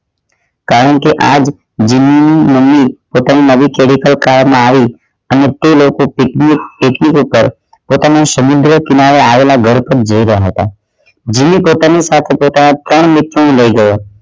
કારણ કે આજ જુલી ની મમ્મી પોતાની નવી car માં આવી અને તે લોકો પોતાના સમુદ્ર કિનારે આવેલા ઘર તરફ જોઈ રહ્યા હતા જુલી પોતાની સાથે પોતાના ત્રણ મિત્રો ને લઈ ગયા